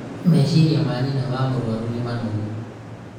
meciria ma nyina wa mũrũaru nĩ manogu